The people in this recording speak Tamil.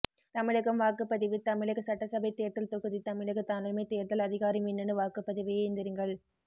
தமிழகம் வாக்குப்பதிவு தமிழக சட்டசபை தேர்தல் தொகுதி தமிழக தலைமை தேர்தல் அதிகாரி மின்னணு வாக்குப்பதிவு இயந்திரங்கள்